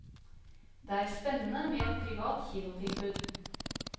Det er spennende med et privat kinotilbud.